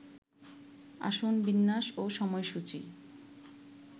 আসন বিন্যাস ও সময়সূচি